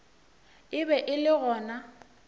e be e le gona